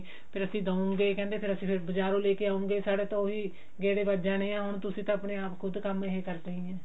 ਫ਼ੇਰ ਅਸੀਂ ਦਯੁਗੇ ਕਹਿੰਦੇ ਅਸੀਂ ਫ਼ੇਰ ਬਜਾਰੋਂ ਲੈਕੇ ਆਉਂਗੇ ਸਾਡੇ ਤਾਂ ਉਹੀ ਗੇੜੇ ਬਚ ਜਾਣੇ ਆ ਹੁਣ ਤੁਸੀਂ ਤਾਂ ਆਪਣੇ ਆਪ ਖੁਦ ਕੰਮ ਇਹ ਕਰਦੇ ਹੀ ਹਾਂ